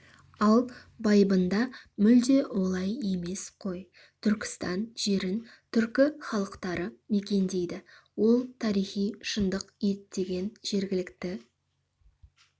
ал байыбында мүлде олай емес қой түркістан жерін түркі халықтары мекендейді ол тарихи шындық ептеген жергілікті